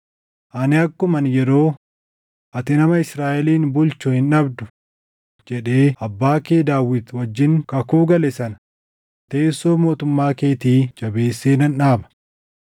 ani akkuman yeroo, ‘Ati nama Israaʼelin bulchu hin dhabdu’ jedhee abbaa kee Daawit wajjin kakuu gale sana teessoo mootummaa keetii jabeessee nan dhaaba.